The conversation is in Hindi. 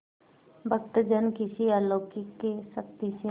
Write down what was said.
भक्तजन किसी अलौकिक शक्ति से